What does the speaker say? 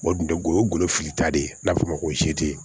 O dun tɛ golo ye golo filita de ye n'a bɛ f'o ma ko